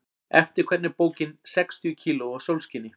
Eftir hvern er bókin Sextíu kíló af sólskini?